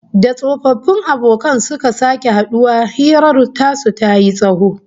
Da tsofaffin abokan suka sake haduwa, hirar su tayi tsawo